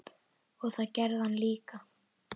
Og það gerði hann líka.